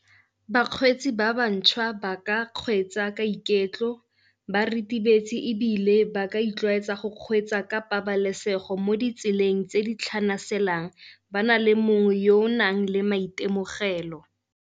Bakgweetsi ba bantšhwa ba ka kgweetsa ka iketlo ba ritibetse ebile ba ka itlwaetsa go kgweetsa ka pabalesego mo ditseleng tse di tlhanaselang, ba na le mongwe yo o nang le maitemogelo.